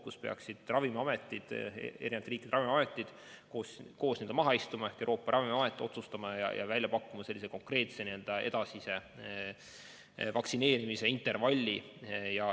See on koht, kus peaksid eri riikide ravimiametid koos maha istuma ja Euroopa Ravimiamet otsustama ja välja pakkuma konkreetse edasise vaktsineerimise intervalli.